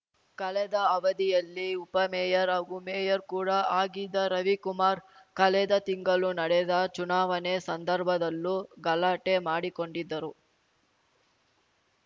ಕಳೆದ ಅವಧಿಯಲ್ಲಿ ಉಪಮೇಯರ್‌ ಹಾಗೂ ಮೇಯರ್‌ ಕೂಡ ಆಗಿದ್ದ ರವಿಕುಮಾರ್‌ ಕಳೆದ ತಿಂಗಳು ನಡೆದ ಚುನಾವಣೆ ಸಂದರ್ಭದಲ್ಲೂ ಗಲಾಟೆ ಮಾಡಿಕೊಂಡಿದ್ದರು